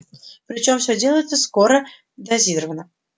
причём все делается скоро дозировано